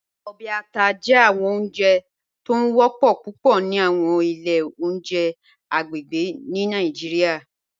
Ọbẹ àtà jẹ awọn ọ̀njẹ̀ tó ń wọ̀pọ̀ púpọ̀ ni awọn ilẹ̀ ọ̀njẹ̀ agbegbe ni Nigeria